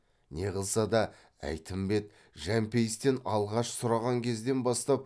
не қылса да әйтімбет жәмпейістен алғаш сұраған кезден бастап